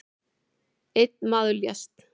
Einn maður lést